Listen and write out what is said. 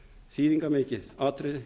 þýðingarmikið atriði